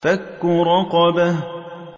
فَكُّ رَقَبَةٍ